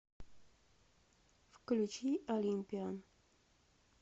включи олимпиан